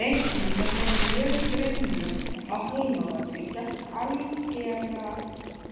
Reikna með þeim mjög grimmum á heimavelli gegn algerlega